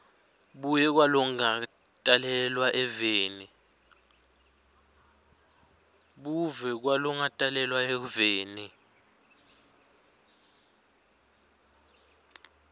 buve kwalongakatalelwa eveni